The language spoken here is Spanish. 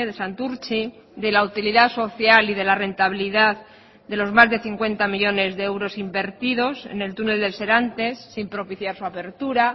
santurtzi de la utilidad social y de la rentabilidad de los más de cincuenta millónes de euros invertidos en el túnel del serantes sin propiciar su apertura